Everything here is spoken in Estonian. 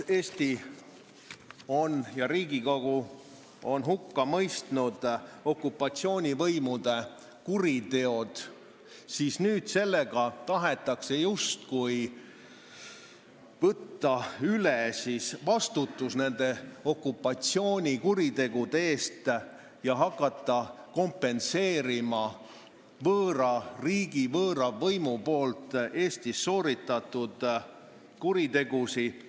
Eesti ja Riigikogu on hukka mõistnud okupatsioonivõimude kuriteod, aga nüüd tahetakse sellega justkui võtta üle vastutus nende kuritegude eest ja hakata kompenseerima võõra riigi, võõra võimu Eestis sooritatud kuritegusid.